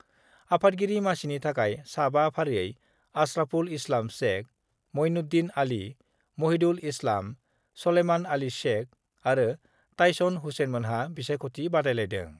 आफादगिरि मासिनि थाखाय सा 5 फारियै आस्राफुल इस्लाम शेख, मुइनुद्दिन आली, महिदुल इस्लाम, सलेमान आली शेख आरो ताइसन हुसेइनमोनहा बिसायख'थि बादायलायदों।